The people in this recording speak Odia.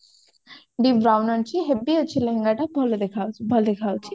deep brown ଆଣିଛି heavy ଅଛି ଲେହେଙ୍ଗା ଟା ଭଲ ଭଲ ଦେଖା ଯାଉଛି